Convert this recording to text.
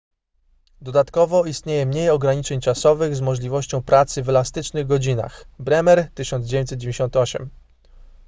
dodatkowo istnieje mniej ograniczeń czasowych z możliwością pracy w elastycznych godzinach bremer 1998